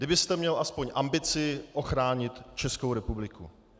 Kdybyste měl aspoň ambici ochránit Českou republiku.